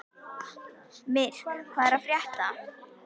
Myrk, hvað er að frétta?